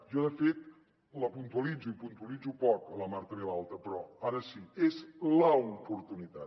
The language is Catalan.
jo de fet la puntualitzo i la puntualitzo poc la marta vilalta però ara sí és l’oportunitat